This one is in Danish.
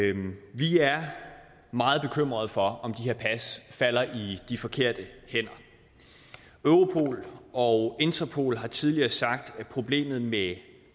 vi er meget bekymrede for om de her pas falder i de forkerte hænder europol og interpol har tidligere sagt at problemet med